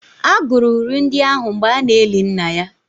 A gụrụ uri ndị ahụ mgbe a na-eli nna ya